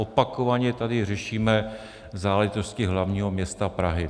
Opakovaně tady řešíme záležitosti hlavního města Prahy.